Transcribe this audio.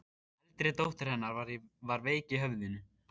Eldri dóttir hennar var veik í höfðinu.